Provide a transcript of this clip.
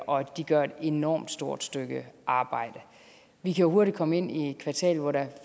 og de gør et enormt stort stykke arbejde vi kan hurtigt komme ind i et kvartal hvor der